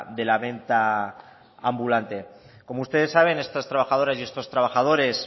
de la venta ambulante como ustedes saben estas trabajadoras y estos trabajadores